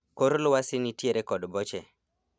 Kor lwasi nitiere kod boche